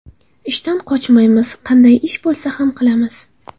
Ishdan qochmaymiz, qanday ish bo‘lsa ham qilamiz.